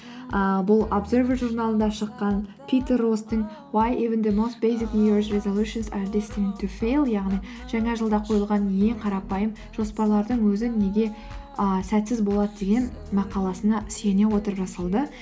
ыыы бұл абзервер журналында шыққан питер росстың яғни жаңа жылда қойылған ең қарапайым жоспарлардың өзі неге ыыы сәтсіз болады деген мақаласына сүйене отырып жасалды